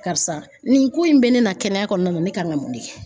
Karisa nin ko in bɛ ne na kɛnɛya kɔnɔna na ne kan ka mun de kɛ?